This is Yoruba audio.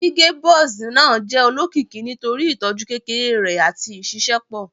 Gige Buzz naa jẹ olokiki nitori itọju kekere rẹ ati iṣiṣẹpọ